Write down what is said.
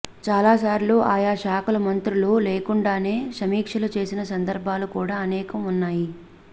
చాలా సార్లు ఆయా శాఖల మంత్రులు లేకుండానే సమీక్షలు చేసిన సందర్భాలు కూడా అనేకం ఉన్నాయి